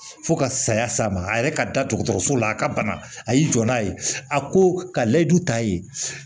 Fo ka saya s'a ma a yɛrɛ ka da dɔgɔtɔrɔso la a ka bana a y'i jɔ n'a ye a ko ka layidu ta yen